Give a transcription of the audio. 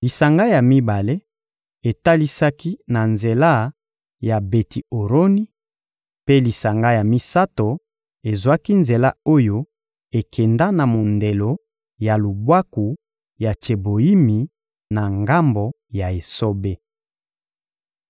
lisanga ya mibale etalisaki na nzela ya Beti-Oroni; mpe lisanga ya misato ezwaki nzela oyo ekenda na mondelo ya Lubwaku ya Tseboyimi, na ngambo ya esobe.